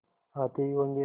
आते ही होंगे